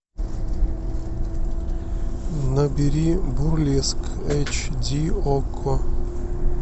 набери бурлеск эйч ди окко